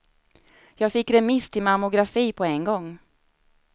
Jag fick remiss till mammografi på en gång.